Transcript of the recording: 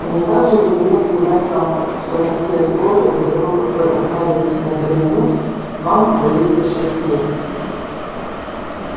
мне также велено передать вам что на все сборы до того как вы отправитесь на терминус вам даётся шесть месяцев